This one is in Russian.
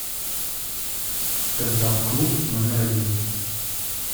стендап клуб номер один